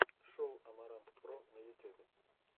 шоу амарантпро на ютюбе